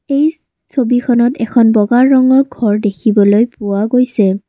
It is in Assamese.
এই ছবিখনত এখন বগা ৰঙৰ ঘৰ দেখিবলৈ পোৱা গৈছে।